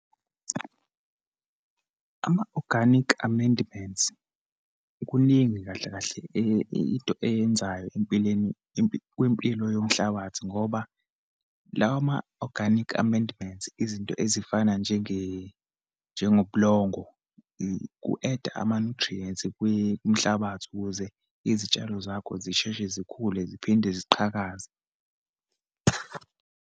Ama-organic amendments, kuningi kahle kahle into eyenzayo empilweni kwimpilo yomhlabathi ngoba, lawa ma-organic amendments, izinto ezifana njengobulongo, ku-add-a ama-nutrients kwimhlabathi, ukuze izitshalo zakho zisheshe zikhule, ziphinde ziqhakaze.